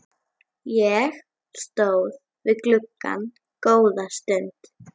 Ég stóð við gluggann góða stund.